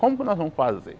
Como que nós vamos fazer?